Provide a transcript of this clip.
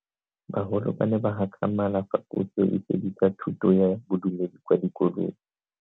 Bagolo ba ne ba gakgamala fa Puso e fedisa thuto ya Bodumedi kwa dikolong.